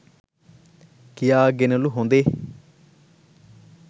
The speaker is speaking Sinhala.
කියාගෙනලු හොඳේ